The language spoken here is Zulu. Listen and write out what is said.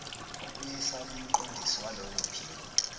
uyiswa kumqondisi walolophiko